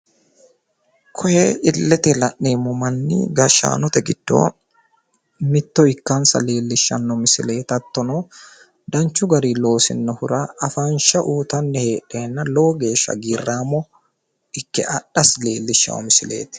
Koye illete la'neemmo manni gashshaanote giddo mitto ikkansa lleellishshanno misileeti hattono danchu gari loosinohura afansha uyiitanni heedheenna lowo geeshsha hagiirraamo ikke adhasi leellishshawo misileeti.